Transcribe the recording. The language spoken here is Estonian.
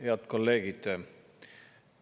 Head kolleegid!